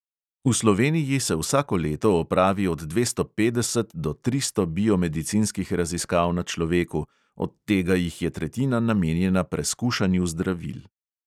V sloveniji se vsako leto opravi od dvesto petdeset do tristo biomedicinskih raziskav na človeku, od tega jih je tretjina namenjena preskušanju zdravil.